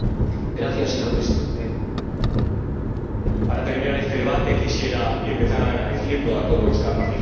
Señor Presidente, para terminar este debate quisiera empezar dando las gracias a todos los que han participado.